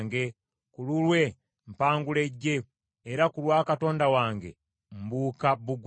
Ku lulwe mpangula eggye, era ku lwa Katonda wange mbuuka bbugwe.